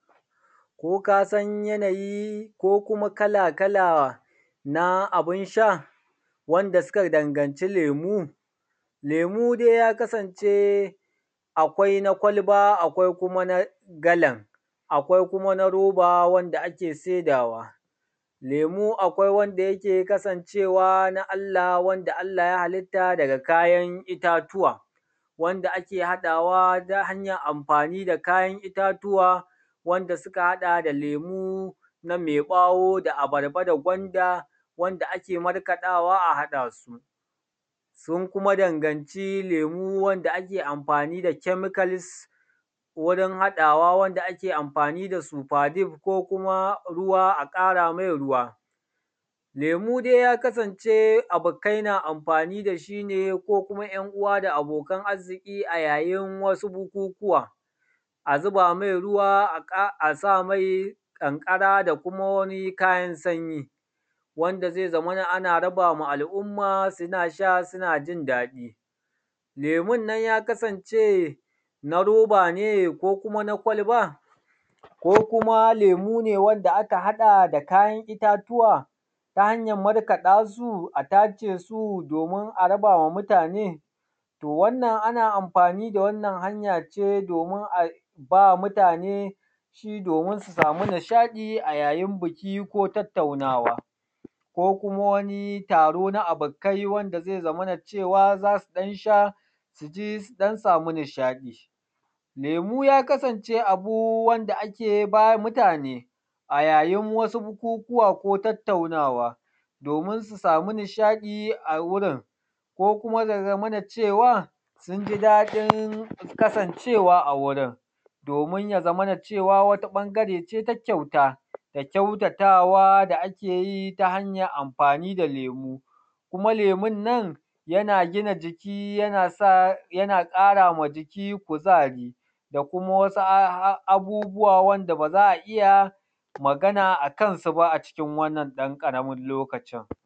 Ko kasan yanayi ko kuma kala kala na abun sha wanda suka dangaci lemu? Lemu dai ya kasance akwai na kwalba, akwai kuma na galan, akwai kuma na roba wanda ake saidawa. Lemu akwai wanda yake kasancewa na Allah, wanda Allah ya halitta da kayan itatuwa, wanda aka haɗawa ta hanyar amfani da kayan itatuwa wanda suka haɗa da lemu na me ɓawo, da abarba, da gwanda, wanda ake markaɗawa a haɗa su. Sun kuma danganci lemu wanda ake amfani da chemicals wurin haɗawa, wanda ake amfani da super dip ko kuma ruwa a ƙara mai ruwa. Lemu dai yakasance abokai na amfani da shi ne ko kuma ‘yan uwa da abokan arziki a yayin wasu bukukuwa a zuba mai ruwa a sa mai ƙanƙara da kuma wani kayan sanyi wanda zai zamana ana raba ma al'umma suna sha suna jindaɗi. lemun nan ya kasance na roba ne, ko kuma na kwalba, ko kuma lemu ne wanda aka haɗa da kayan itatuwa ta hanyan markaɗa su a tace su domin a raba wa mutane, to wannan ana amfani da wannan hanyan ce domin aba mutane shi domin su samu nishaɗi a yayin biki, ko tattaunawa, ko kuma wani taro na abokai wanda zai zamana cewa za su ɗan sha su ji su ɗan samu nishaɗi. Lemu ya kasance abu wanda ake ba mutane a yayin bukukuwa ko tattaunawa, domin su samu nishaɗi a wurin ko kuma ya zamana cewa sun jidaɗin kasancewa a wurin domin ya zamana cewa wata ɓangare ce ta kyauta da kyautatawa da ake yi ta hanyan amfani lemu. Kuma lemun nan yana gina jiki yana ƙara ma jiki kuzari, da kuma wasu abubuwa wanda ba za a iya magana akan su ba acikin a wannan ɗan ƙaramin lokacin.